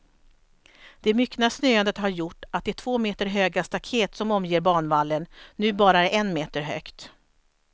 Det myckna snöandet har gjort att det två meter höga staket som omger banvallen, nu bara är en meter högt.